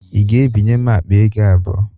Ị ga-ebinye m akpa ego abụọ?